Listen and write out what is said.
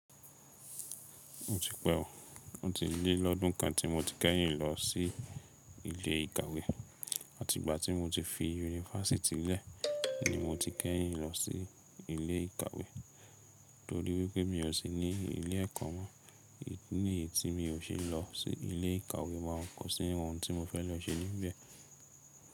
Ó ti pẹ́ o, ó ti lé lọ́dún kan tí mo ti kẹ́yìn lọ sí ilé ìkàwé. Àtìgbà tí mo ti fi yunifásítì lẹ̀, ni mo ti kẹ́yìn lọ sí ilé ìkàwé torí wípé mi ò sí ní ilé ẹ̀kọ́ mọ́. Idi nìyí tí mi o ṣe lọ sí ilé ìkàwé mo kọ sí ohun tí mo fẹ́ lọ ṣe níbẹ̀.